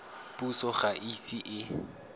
puso ga e ise e